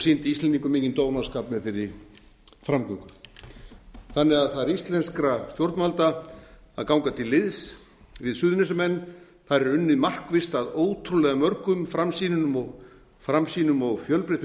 sýndi íslendingum mikinn dónaskap með þeirri framgöngu þannig að það er íslenskra stjórnvalda að ganga til liðs við suðurnesjamenn þar er unnið markvisst að ótrúlega mörgum framsýnum og fjölbreyttum